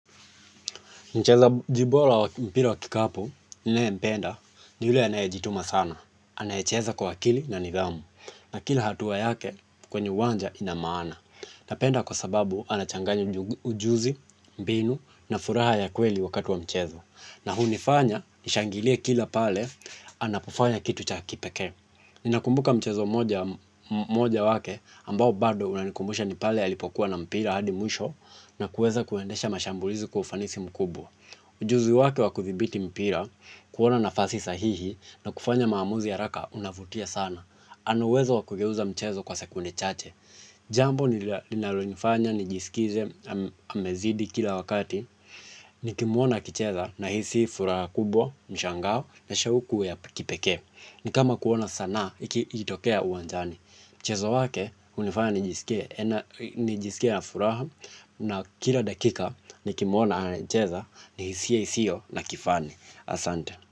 Mchezaji wa mpira wa kikapu ninayempenda ni yule anayejituma sana. Anayecheza kwa akili na nidhamu. Na kila hatua yake kwenye uwanja ina maana. Napenda kwa sababu anachanganya ujuzi, mbinu na furaha ya kweli wakati wa mchezo na hunifanya nishangilie kila pale anapofanya kitu cha kipekee. Ninakumbuka mchezo mmoja wake ambao bado unanikumbusha ni pale alipokuwa na mpira hadi mwisho na kuweza kuendesha mashambulizi kwa ufanisi mkubwa ujuzi wake wa kudhibiti mpira, kuona nafasi sahihi na kufanya maamuzi haraka unavutia sana. Anaweza kugeuza mchezo kwa sekunde chache. Jambo nilinalonifanya nijisikize amezidi kila wakati. Nikimwona akicheza nahisi furaha kubwa, mshangao na shauku ya kipekee. Ni kama kuona sanaa ikitokea uwanjani. Mchezo wake unanifanya nijisikie na furaha. Na kila dakika, nikimwona akicheza ni hisia isiyo na kifani. Asante.